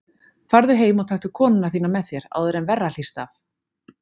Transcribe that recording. Farðu heim og taktu konuna þína með þér, áður en verra hlýst af.